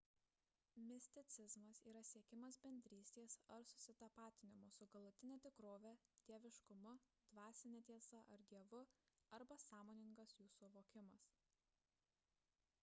misticizmas yra siekimas bendrystės ar susitapatinimo su galutine tikrove dieviškumu dvasine tiesa ar dievu arba sąmoningas jų suvokimas